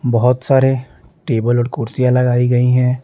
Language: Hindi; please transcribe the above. बहुत सारे टेबल और कुर्सियाँ लगाई गई हैं।